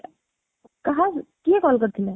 କାହାକୁ କିଏ call କରିଥିଲା?